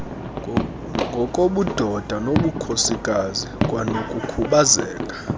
ngokobudoda nobukhosikazi kwanokukhubazeka